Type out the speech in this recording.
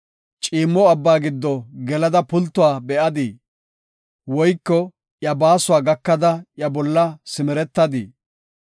Ciimmo abba giddo gelada pultuwa be7adii? Woyko iya baasuwa gakada iya olla simeretadii?